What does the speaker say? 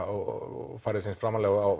og færði sig eins framarlega á